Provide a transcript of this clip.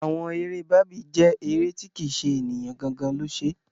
Àwọn eré Barbie jẹ́ eré tí kì ṣe ènìyàn gangan lo ṣe.